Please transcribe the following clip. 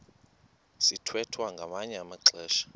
sithwethwa ngamanye amaxesha